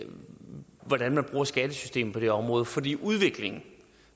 hvordan man bruger skattesystemet på det område fordi udviklingen